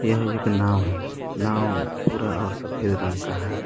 यह एक नाव है नाव भूरा और सफेद रंग का है।